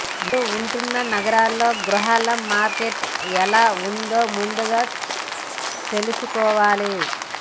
మీరు ఉంటున్న నగరంలో గృహాల మార్కెట్ ఎలా ఉందో ముందుగా తెలుసుకోవాలి